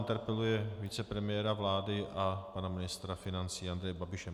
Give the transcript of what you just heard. Interpeluje vicepremiéra vlády a pana ministra financí Andreje Babiše.